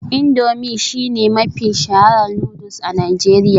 Indomie shine mafi shaharar noodles a Najeriya